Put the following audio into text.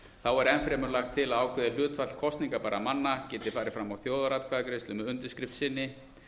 þá er enn fremur lagt til að ákveðið hlutfall kosningabærra manna geti farið fram á þjóðaratkvæðagreiðslu með undirskrift sinni